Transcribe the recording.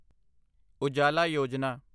Ujala Yojana